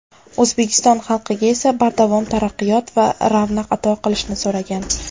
O‘zbekiston xalqiga esa bardavom taraqqiyot va ravnaq ato qilishini so‘ragan.